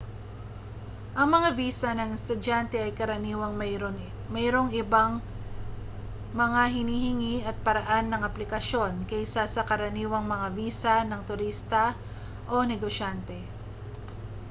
ang mga visa ng estudyante ay karaniwang mayroong ibang mga hinihingi at paraan ng aplikasyon kaysa sa karaniwang mga visa ng turista o negosyante